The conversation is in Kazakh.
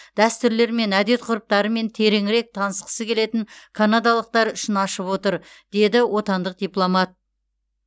дәстүрлер мен әдет ғұрыптарымен тереңірек танысқысы келетін канадалықтар үшін ашып отыр деді отандық дипломат